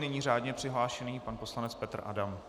Nyní řádně přihlášený pan poslanec Petr Adam.